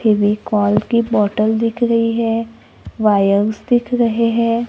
फेविकोल की बॉटल दिख रही है वायर्स दिख रहे हैं।